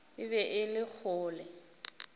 e be e le kgole